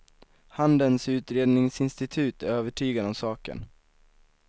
Handelns utredningsinstitut är övertygad om saken.